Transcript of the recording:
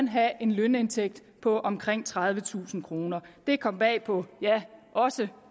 have en lønindtægt på omkring tredivetusind kroner det kom bag på også